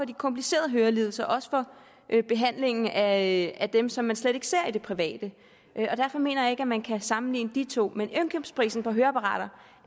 de komplicerede hørelidelser og behandlingen af dem som man slet ikke ser i det private derfor mener jeg ikke at man kan sammenligne de to priser men indkøbspriserne på høreapparater